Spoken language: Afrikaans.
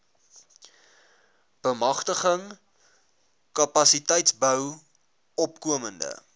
bemagtiging kapasiteitsbou opkomende